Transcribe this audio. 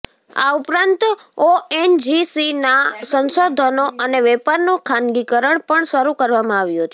આ ઉપરાંત ઓએનજીસીના સંશોધનો અને વેપારનું ખાનગીકરણ પણ શરૂ કરવામાં આવ્યું છે